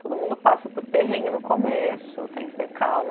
Todo mundo passa por perrengue no começo, tem que ter calma.